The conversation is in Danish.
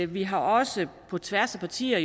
vi har også på tværs af partier